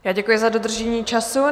Já děkuji za dodržení času.